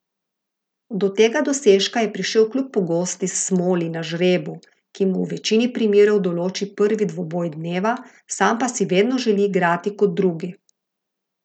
Do tega dosežka je prišel kljub pogosti smoli na žrebu, ki mu v večini primerov določi prvi dvoboj dneva, sam pa si vedno želi igrati kot drugi.